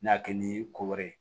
N'a kɛ ni ko wɛrɛ ye